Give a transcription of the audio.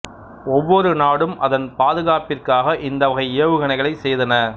ஒவ்வொரு நாடும் அதன் பாதுகாப்பிற்காக இந்த வகை ஏவுகணைகளைச் செய்தன